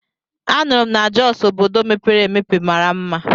A nụrụ m na Jọs obodo mepere emepe mara mma.